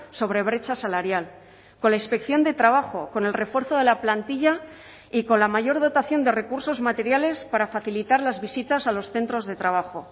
sobre brecha salarial con la inspección de trabajo con el refuerzo de la plantilla y con la mayor dotación de recursos materiales para facilitar las visitas a los centros de trabajo